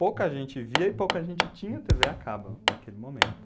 Pouca gente via e pouca gente tinha tê vê a cabo naquele momento.